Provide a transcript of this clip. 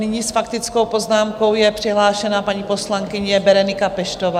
Nyní s faktickou poznámkou je přihlášena paní poslankyně Berenika Peštová.